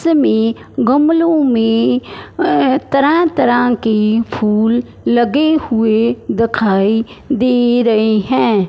हमें गमलो में अ तरह तरह के फुल लगे हुए दिखाई दे रहे हैं।